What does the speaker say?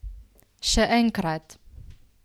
Še enkrat?